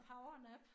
Powernap